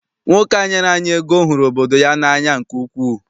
Nwoke a nyere anyị ego hụrụ obodo ya n'anya nke ukwuu.